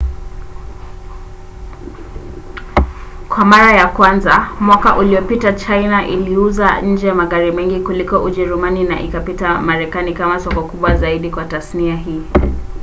kwa mara ya kwanza mwaka uliopita china iliuza nje magari mengi kuliko ujerumani na ikapita marekani kama soko kubwa zaidi kwa tasnia hii